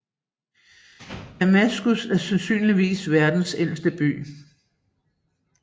Damaskus er sandsynligvis verdens ældste by